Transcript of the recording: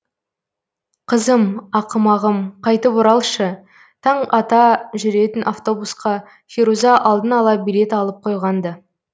қызым ақымағым қайтып оралшы таң ата жүретін автобусқа феруза алдын ала билет алып қойған ды